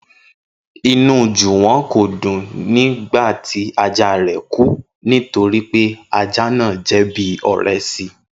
Inú Jùwọ́n kò dùn nígbà tí ajá rẹ̀ kú nítorí pé ajá náà jẹ́ bí ọ̀rẹ́ si